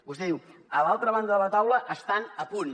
vostè diu a l’altra banda de la taula estan a punt